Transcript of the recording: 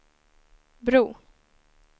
bro